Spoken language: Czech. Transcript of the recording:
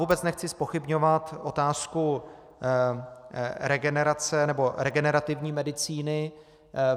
Vůbec nechci zpochybňovat otázku regenerace nebo regenerativní medicíny.